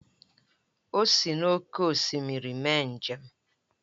O sị n’oké osimiri mee njem